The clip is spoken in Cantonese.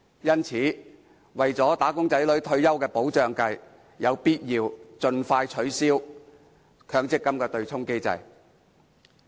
因此，為了"打工仔女"的退休保障着想，實在有必要盡快取消強積金的對沖機制。